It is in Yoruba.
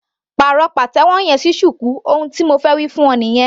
Pàrọ̀ pàtẹ́wọ́ yẹn sí shuku ohun tí mo wí fún ọ nìyẹn.